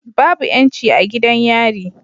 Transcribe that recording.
Babu yanci a gidan yari